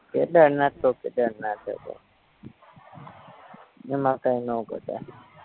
કેદારનાથતો કેદારનાથ હે ભાઈ એમાં કાયનો ઘટે